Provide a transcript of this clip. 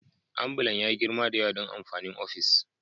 Ambulan ya yi girma da yawa don amfanin ofis